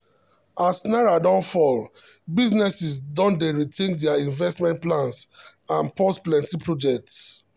as naira don fall businesses don dey rethink their investment plans and pause plenty projects.